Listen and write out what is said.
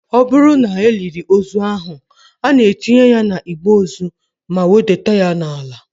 Ọ bụrụ na e liri ozu ahụ, a na-etinye ya na igbe ozu ma wedata ya n'ala